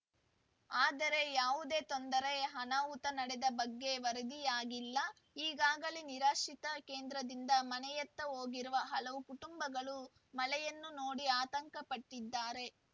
ಆದರೆ ಯಾವುದೇ ತೊಂದರೆ ಅನಾಹುತ ನಡೆದ ಬಗ್ಗೆ ವರದಿಯಾಗಿಲ್ಲ ಈಗಾಗಲೇ ನಿರಾಶ್ರಿತ ಕೇಂದ್ರದಿಂದ ಮನೆಯತ್ತ ಹೋಗಿರುವ ಹಲವು ಕುಟುಂಬಗಳು ಮಳೆಯನ್ನು ನೋಡಿ ಆತಂಕ ಪಟ್ಟಿದ್ದಾರೆ